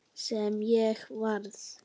Sem ég varð.